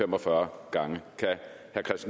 hvorfor